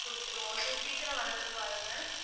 குடுத்துருவோம் so சீக்கிரம் வரதுக்கு பாருங்க